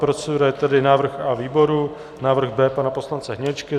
Procedura je tedy návrh A výboru, návrh B pana poslance Hniličky.